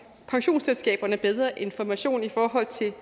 pensionsselskaberne bedre information i forhold til